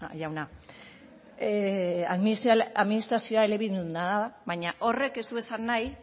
jauna administrazioa elebiduna da baina horrek ez du esan nahi